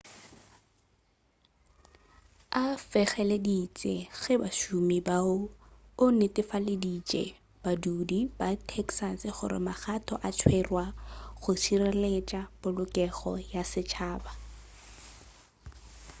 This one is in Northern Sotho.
a fegeleditše ke bašomi bao o netefaleditše badudi ba texas gore magato a tšerwa go šireletša polokego ya setšhaba